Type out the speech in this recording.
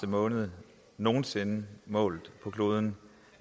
måned nogen sinde målt på kloden